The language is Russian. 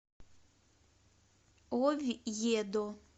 овьедо